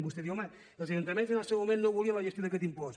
vostè diu home els ajuntaments en el seu moment no volien la gestió d’aquest impost